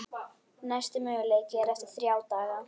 Næsti möguleiki er eftir þrjá daga.